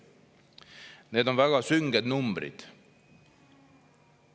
Need on väga sünged numbrid.